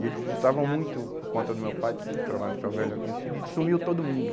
E eles visitavam muito por conta do meu pai, que trabalhava no ferro velho e era conhecido, e sumiu todo mundo.